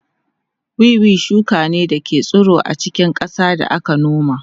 Wiwi shuka ne da ke tsiro a cikin ƙasa da aka noma